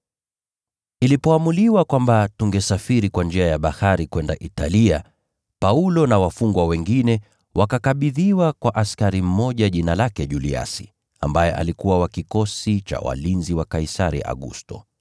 Ilipoamuliwa kwamba tungesafiri kwa njia ya bahari kwenda Italia, Paulo na wafungwa wengine wakakabidhiwa kwa kiongozi mmoja wa askari aliyeitwa Juliasi, aliyekuwa wa Kikosi cha Walinzi wa Kaisari.